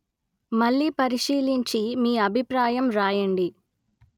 మళ్ళీ పరిశీలించి మీ అభిప్రాయం వ్రాయండి